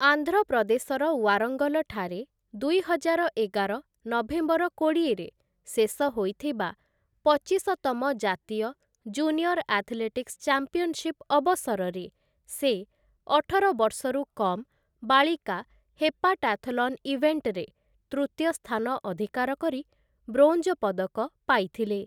ଆନ୍ଧ୍ର ପ୍ରଦେଶର ୱାରଙ୍ଗଲଠାରେ ଦୁଇହଜାର ଏଗାର ନଭେମ୍ବର କୋଡ଼ିଏରେ ଶେଷ ହୋଇଥିବା, ପଚିଶତମ ଜାତୀୟ ଜୁନିୟର ଆଥଲେଟିକ୍ସ ଚାମ୍ପିଆନଶିପ ଅବସରରେ ସେ, ଅଠର ବର୍ଷରୁ କମ୍‌ ବାଳିକା ହେପାଟାଥଲନ୍ ଇଭେଣ୍ଟ୍‌ରେ ତୃତୀୟ ସ୍ଥାନ ଅଧିକାର କରି ବ୍ରୋଞ୍ଜ ପଦକ ପାଇଥିଲେ ।